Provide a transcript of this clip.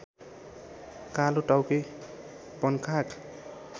कालोटाउके वनकाग